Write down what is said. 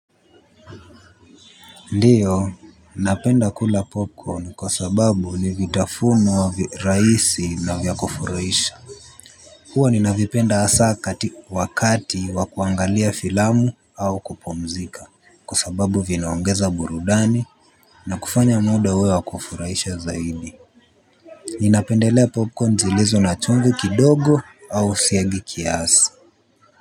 Ndio, napenda kula popcorn kwa sababu ni vitafunwa rahisi na vya kufurahisha. Hua nina vipenda hasa wakati wa kuangalia filamu au kupumzika. Kwa sababu vinaongeza burudani na kufanya muda uwe wa kufuraisha zaidi. Ninapendelea popcorn zilizo na chumvi kidogo au siagi kiasi.